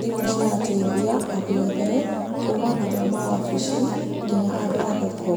thimũ cirateithia andũ othe, kuuma andũ a amawabici, nginya andũ a thoko.